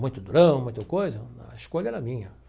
muito durão, muita coisa, a escolha era minha.